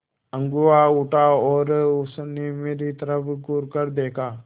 अगुआ उठा और उसने मेरी तरफ़ घूरकर देखा